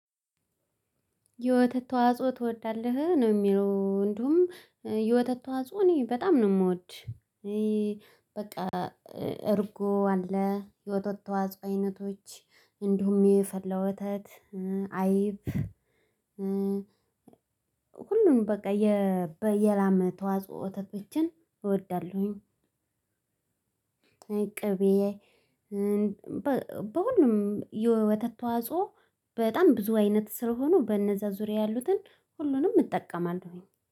የወተት ተዋጽኦ ትወዳለህ ነው የሚለው እንዲሁም የወተት ተዋጽኦ እኔ በጣም ነው የምወድ። በቃ እርጎ አለ የወተት ተዋጽ አይነቶች እንዲሁም የፈላ ወተት አይብ። ሁሉንም በቃ የበ የላም ወተቶችን እወዳለሁኝ። ቅቤ በሁሉም የወተት ተዋጽኦ በጣም ብዙ አይነት ስለሆኑ በእነዛ ዙሪያ ያሉትን ሁሉንም እጠቀማለሁኝ